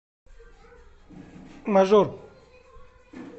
мажор